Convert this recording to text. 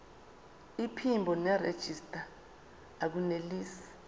iphimbo nerejista akunelisi